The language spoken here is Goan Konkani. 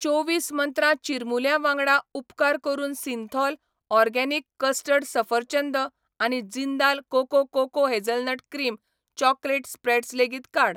चोवीस मंत्रा चिरमुल्यां वांगडा, उपकार करून सिंथॉल, ऑर्गेनिक कस्टर्ड सफरचंद आनी Jindal cocoa cocoa hazelnut cream chocolate spreads लेगीत काड.